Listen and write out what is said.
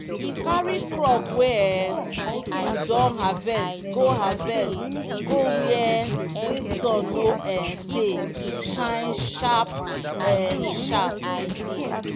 carry crop wey um you don harvest go harvest go where sun no um dey shine sharp um sharp.